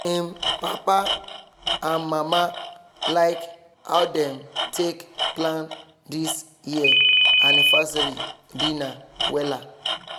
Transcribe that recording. im papa and mama like how dem take plan this year anniversary dinner wella